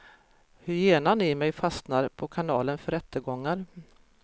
Hyenan i mig fastnar på kanalen för rättegångar.